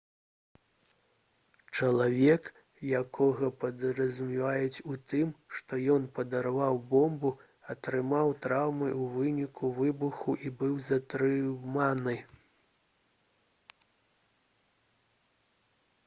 чалавек якога падазраюць у тым што ён падарваў бомбу атрымаў траўмы ў выніку выбуху і быў затрыманы